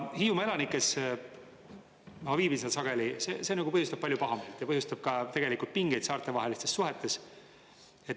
Hiiumaa elanikes – ma viibin seal sageli – see põhjustab palju pahameelt ja põhjustab ka tegelikult pingeid saarte vahelistes suhetes.